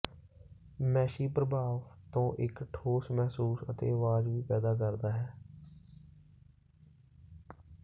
Massey ਪ੍ਰਭਾਵ ਤੋਂ ਇਕ ਠੋਸ ਮਹਿਸੂਸ ਅਤੇ ਆਵਾਜ਼ ਵੀ ਪੈਦਾ ਕਰਦਾ ਹੈ